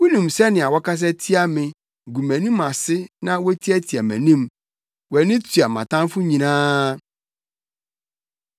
Wunim sɛnea wɔkasa tia me, gu mʼanim ase na wotiatia mʼanim; wʼani tua mʼatamfo nyinaa.